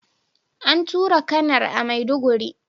An tura Kanar a maiduguri